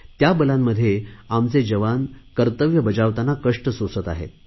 त्या बलांमध्ये आमचे जवान कर्तव्य बजावतांना कष्ट सोसत आहे